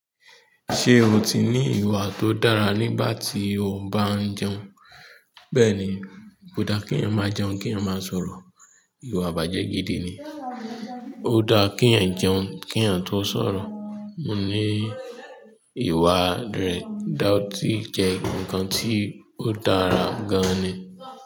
Ṣé o ti ní ìwà tó dára nígbà tí o bá ń jẹun? Bẹ́ẹ̀ni, ko dá kí èèyàn máa jẹun kí èèyàn máa sọ̀rọ̀. Ìwà ìbàjẹ́ gidi ni. Ó dáa kí èèyàn jẹun kí èèyàn tó sọ̀rọ̀. Mo ní ìwà re, dà ọ́ ti jẹ́ nǹkan tí ó dára gan-an ni.